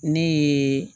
Ne ye